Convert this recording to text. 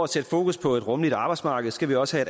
sætte fokus på et rummeligt arbejdsmarked skal vi også